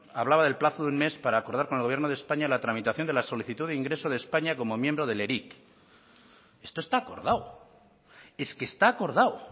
hablaba del plazo de un mes para acordar con el gobierno de españa la tramitación de la solicitud de ingreso de españa como miembro del eric esto está acordado es que está acordado